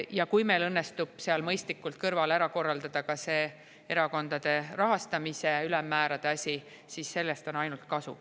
Ja kui meil õnnestub selle kõrval mõistlikult ära korraldada ka see erakondade rahastamise ülemmäärade asi, siis sellest on ainult kasu.